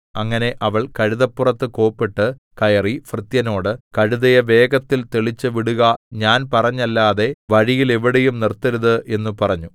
അങ്ങനെ അവൾ കഴുതപ്പുറത്ത് കോപ്പിട്ട് കയറി ഭൃത്യനോട് കഴുതയെ വേഗത്തിൽ തെളിച്ചുവിടുക ഞാൻ പറഞ്ഞല്ലാതെ വഴിയിൽ എവിടെയും നിർത്തരുത് എന്ന് പറഞ്ഞു